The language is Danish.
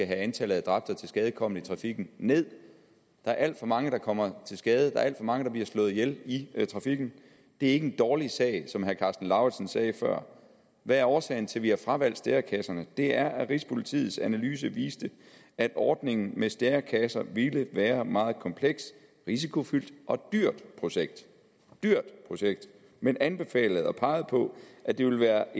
antallet af tilskadekomne i trafikken nederst der er alt for mange der kommer til skade der er alt for mange der bliver slået ihjel i trafikken det er ikke en dårlig sag sådan som herre karsten lauritzen sagde før hvad er årsagen til at vi har fravalgt stærekasserne det er at rigspolitiets analyse viste at ordningen med stærekasser ville være et meget komplekst risikofyldt og dyrt projekt et dyrt projekt man anbefalede og pegede på at det ville være